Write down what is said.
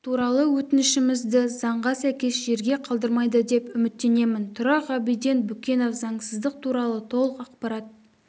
туралы өтінішімізді заңға сәйкес жерде қалдырмайды деп үміттенемін тұра ғабиден бүкенов заңсыздық туралы толық ақпарат